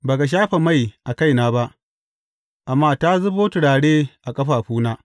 Ba ka shafa mai a kaina ba, amma ta zubo turare a ƙafafuna.